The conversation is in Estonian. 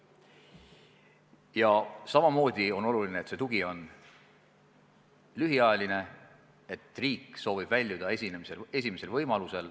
Ja samamoodi on oluline, et see tugi on lühiajaline, et riik soovib väljuda esimesel võimalusel.